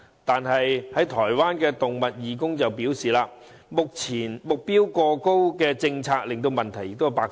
但是，有台灣的動物義工表示，政策目標過高令問題百出。